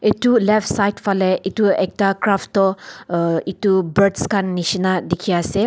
Etu left side fale etu ekta craft tu uh etu birds khan neshna dekhe ase.